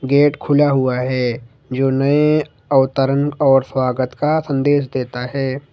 Gate खुला हुआ है जो नए अवतरण और स्वागत का संदेश देता है।